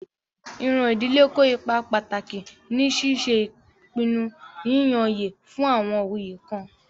Iran idile kó ipá pataki ni ṣiṣe ipinnu yiyanyẹ fun awọn oyé kan.